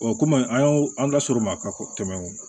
kɔmi an y'o an da sɔr'o ma ka tɛmɛ